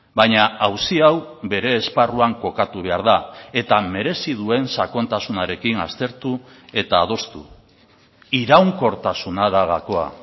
baina auzi hau bere esparruan kokatu behar da eta merezi duen sakontasunarekin aztertu eta adostu iraunkortasuna da gakoa